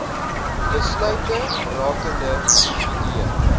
besluite rakende individue